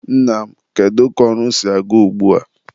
Nna m, kedu ka ọrụ si aga ugbua?